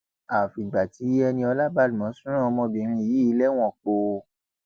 àfìgbà tí eniola badmus rán ọmọbìnrin yìí lẹwọn póò